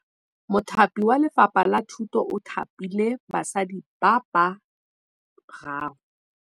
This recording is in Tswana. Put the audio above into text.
Mothapi wa Lefapha la Thutô o thapile basadi ba ba raro.